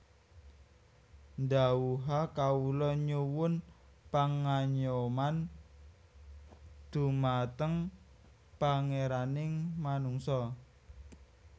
Dhawuha Kawula nyuwun pangayoman dhumateng Pangeraning manungsa